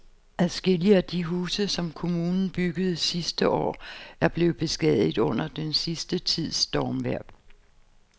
Adskillige af de huse, som kommunen byggede sidste år, er blevet beskadiget under den sidste tids stormvejr.